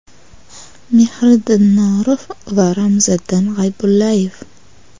Mehriddin Norov va Ramziddin G‘aybullayev.